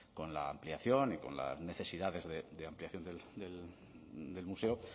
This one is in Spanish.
con la ampliación y con las necesidades de ampliación del museo